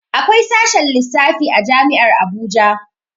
Akwai sashen lissafi a jami'ar Abuja